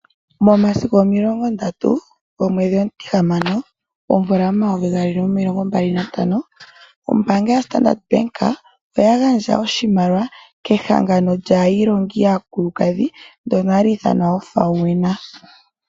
Momasiku omilongo ndatu gomwedhi omutihamano omvula gomayovi gaali nomilongo mbali nantano ombaanga yoStandard oya gandja oshimaliwa kEhangano lyAailongi yAakulukadhi ndyono hali ithanwa FAWENA.